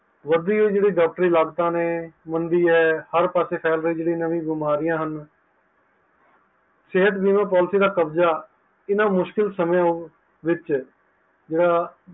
ਵਧਦੀ ਹੋਇ ਜਿਹੜੀ ਡਾਕ੍ਟਰੀ ਲਾਗਤ ਨੇ, ਮੰਨਦੀ ਹੈਂ, ਹਰ ਪਾਸੇ ਫੇਲ ਰਹੀ ਨਹੀਂ ਬਿਮਾਰੀਆਂ ਹਨ, ਸਿਹਤ ਬੀਮਾ Policy ਦਾ ਕਬਜਾ ਇਨ੍ਹਾਂ ਮੁਸ਼ਕਿਲ ਸਮਹ ਵਿਚ